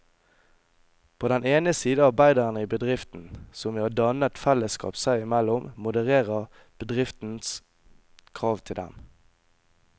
På den ene side arbeiderne i bedriften, som ved å danne et fellesskap seg imellom modererer bedriftens krav til dem.